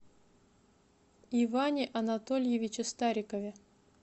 иване анатольевиче старикове